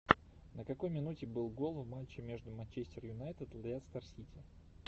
на какой минуте был гол в матче между манчестер юнайтед лестер сити